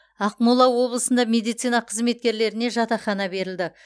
ақмола облысында медицина қызметкерлеріне жатақхана берілді